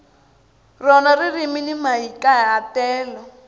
rona ririmi ni mahikahatelo